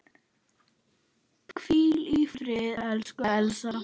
Hvíl í friði, elsku Elsa.